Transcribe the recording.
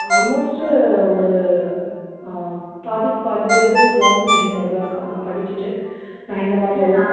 almost ஒரு ஆஹ் பாதிக்கு பாதி பேரு long vision னோட தான் இருக்கா ஆனா படிச்சிட்டு நான் இந்த மாதிரி